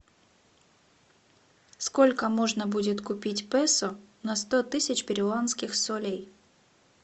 сколько можно будет купить песо на сто тысяч перуанских солей